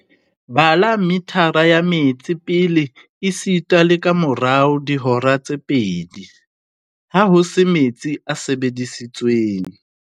"Bala mithara ya metsi pele esita le kamora dihora tse pedi, ha ho se metsi a sebedisitsweng."